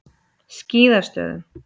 Skíðastöðum